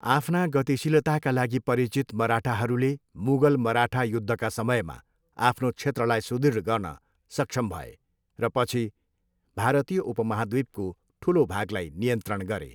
आफ्ना गतिशीलताका लागि परिचित मराठाहरूले मुगल, मराठा युद्धका समयमा आफ्नो क्षेत्रलाई सुदृढ गर्न सक्षम भए र पछि भारतीय उपमहाद्वीपको ठुलो भागलाई नियन्त्रण गरे।